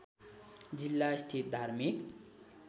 जिल्ला स्थित धार्मिक